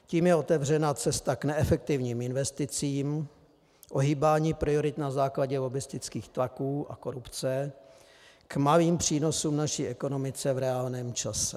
Tím je otevřena cesta k neefektivním investicím, ohýbání priorit na základě lobbistických tlaků a korupce, k malým přínosům naší ekonomice v reálném čase.